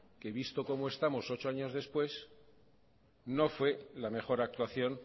que visto cómo estamos ocho años después no fue la mejor actuación